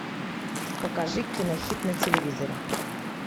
покажи кинохит на телевизоре